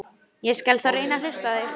Ég skal þá reyna að hlusta á þig.